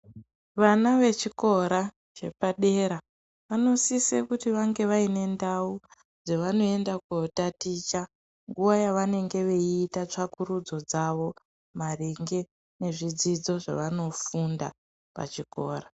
Vana vechikora chepadera vanosise kuti vange vaine ndau dzevanoenda kotaticha. Nguva yavanenge veiita tsvakurudzo dzavo maringe nezvidzidzo zvavanofunda pachikora.